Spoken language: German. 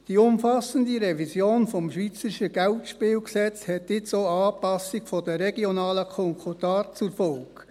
Die umfassende Revision des Bundesgesetzes über Geldspiele (Geldspielgesetz, BGS) hat nun auch Anpassungen der regionalen Konkordate zur Folge.